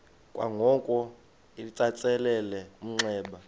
kwangoko litsalele umnxeba